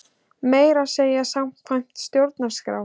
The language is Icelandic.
Meira að segja samkvæmt stjórnarskrá!